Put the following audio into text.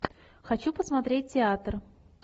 хочу посмотреть театр